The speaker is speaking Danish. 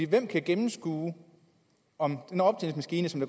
hvem kan gennemskue om den optællingsmaskine som